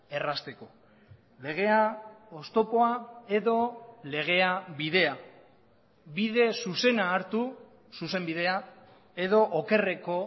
errazteko legea oztopoa edo legea bidea bide zuzena hartu zuzenbidea edo okerreko